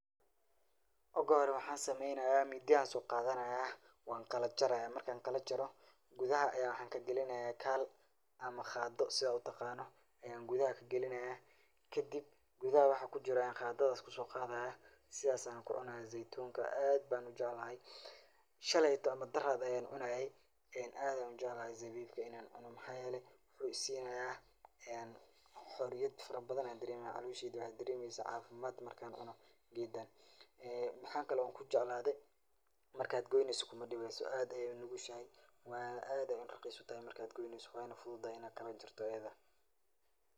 Ogu hore waxaan sameeynaya mindi ayaan soo qaadanaya, waan kala jaraya, markaan kala jaro gudaha ayaan waxaa kagalinaya kaal ama qaado sidha aad utaqaano ayaan gudaha kagalinaya, kadib gudaha waxa kujiro ayaan qaadadaas kusoo qaadaya, sidhaas ayaana kucunaaya zeitunka, aad ayaan ujeclahay, shalayto ama daraad ayaan cunaaye, aad ayaan ujeclahay zeitunka inaan cuno waxaa yeele wuxuu isiinaya xoriyad fara badan ayaan dareemaya, caloosheyda waxaay daremeysa cafimaad markaan cuno geedan, waxaa kale oo kujeclaade markaad goyneyso kuma dibeyso aad ayeey unugushahay, aad ayeey raqiis utahay markaad goneyso waana awooda inaa kala jarto.